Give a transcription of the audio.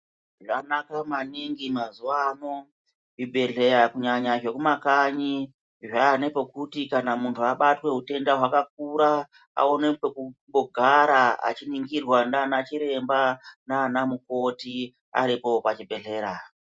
Zvanaka maningi mazuva ano zvi bhedhleya kunyanya zveku makanyi zvane pokuti munhu abatwe hutenda hwakura aone pekumbo gara achi ningirwa nana chiremba nana mukoti aripo pa chibhedhlera.